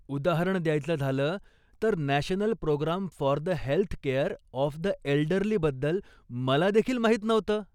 उदाहरण द्यायचं झालं तर, national programme for the health care of the एल्डर्लीबद्दल मला देखील माहीत नव्हतं.